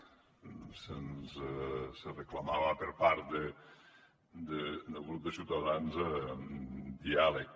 se’ns reclamava per part del grup de ciutadans diàleg